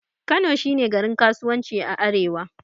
Kano shi ne garin kasuwanci a arewa.